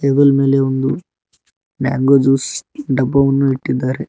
Stool ಮೇಲೆ ಒಂದು mango juice ಡಬ್ಬವನ್ನು ಇಟ್ಟಿದ್ದಾರೆ.